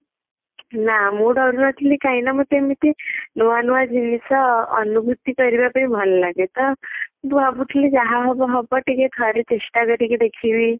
ନା ମୁଁ ଡରୁ ନଥିଲି କାହିଁକି ନା ମତେ ଏମିତି ନୂଆ ନୂଆ ଜିନିଷ ଅନୁଭୂତି କରିବା ପାଇଁ ଭଲ ଲାଗେ ତ ମୁଁ ଭାବୁଥିଲି ଯାହା ହବ ହବ ଟିକେ ଠାରେ ଚେଷ୍ଟା କରିକି ଦେଖିବି